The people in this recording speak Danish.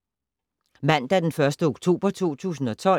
Mandag d. 1. oktober 2012